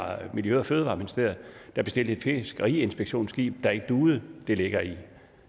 miljø og fødevareministeriet der bestilte et fiskeriinspektionsskib der ikke duede det ligger i